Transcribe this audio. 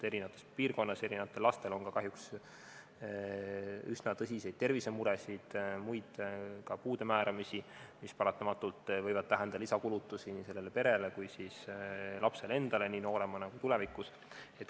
Eri piirkondades on lastel ka kahjuks üsna tõsiseid tervisemuresid ja puude määramisi, mis paratamatult võib tähendada lisakulutusi nii sellele perele kui ka lapsele endale nii noorena kui ka tulevikus.